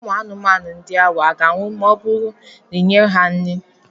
Ụmụ anụmanụ ndị ahụ a ga-anwụ ma ọ bụrụ na ị nyeghị ha nri?